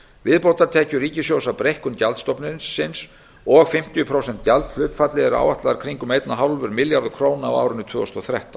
viðbótartekjur ríkissjóðs af breikkun gjaldstofnsins og fimmtíu prósent gjaldhlutfalli eru áætlaðar kringum einn komma fimm milljarðar króna á árinu tvö þúsund og þrettán